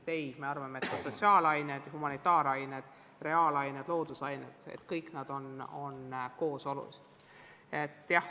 Ei, me arvame, et sotsiaalained, humanitaarained, reaalained ja loodusained kõik koos on olulised.